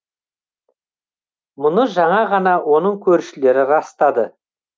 мұны жаңа ғана оның көршілері растады